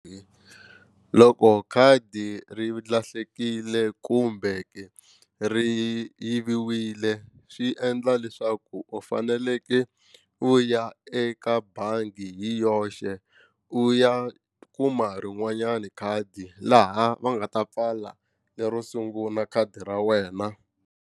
Loko khadi ri lahlekile kumbe ri yiviwile swi endla leswaku u fanekele u ya eka bangi hi yoxe u ya kuma rin'wanyani khadi laha va nga ta pfala lero sungula khadi ra wena.